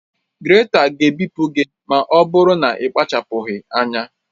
Grèta ga-ebipụ gị ma ọ bụrụ na ị kpachapụghị anya